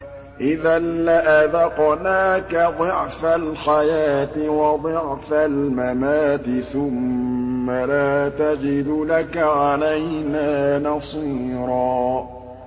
إِذًا لَّأَذَقْنَاكَ ضِعْفَ الْحَيَاةِ وَضِعْفَ الْمَمَاتِ ثُمَّ لَا تَجِدُ لَكَ عَلَيْنَا نَصِيرًا